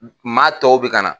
Maa tɔw bɛ ka na.